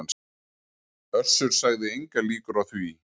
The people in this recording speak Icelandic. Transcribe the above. Össur sagði engar líkur á því